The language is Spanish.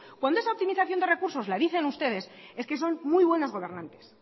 cuando esa optimización de recursos lo dicen ustedes es que son muy bueno gobernantes